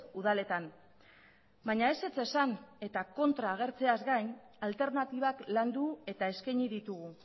udaletan baina ezetz esan eta kontra agertzeaz gain alternatibak landu eta eskaini ditugu